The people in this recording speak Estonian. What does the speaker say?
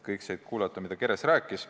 Kõik said kuulata, mida Keres rääkis.